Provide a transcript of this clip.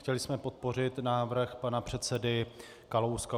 Chtěli jsme podpořit návrh pana předsedy Kalouska.